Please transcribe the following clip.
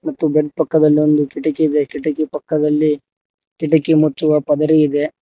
ಮತ್ತು ಬೆಡ್ ಪಕ್ಕದಲ್ಲಿ ಒಂದು ಕಿಟಕಿ ಇದೆ ಕಿಟಕಿ ಪಕ್ಕದಲ್ಲಿ ಕಿಡಕಿ ಮತ್ತು ಆ ಪದರೀ ಇದೆ.